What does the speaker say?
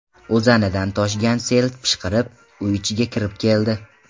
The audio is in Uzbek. O‘zanidan toshgan sel pishqirib, uy ichigacha kirib keldi.